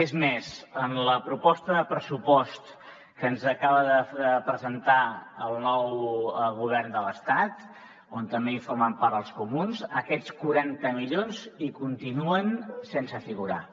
és més en la proposta de pressupost que ens acaba de presentar el nou govern de l’estat d’on també en formen part els comuns aquests quaranta milions hi continuen sense figurar